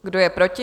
Kdo je proti?